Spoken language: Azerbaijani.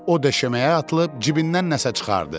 O döşəməyə atılıb cibindən nəsə çıxardı.